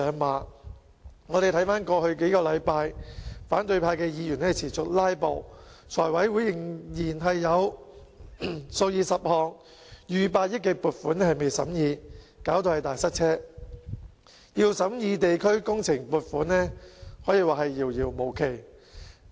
回看過去數星期，反對派議員持續"拉布"，財務委員會仍然有數以十項逾百億元的撥款尚待審議，導致"大塞車"，要審議地區工程撥款，可說是遙遙無期。